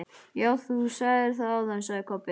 Já, þú sagðir það áðan, sagði Kobbi.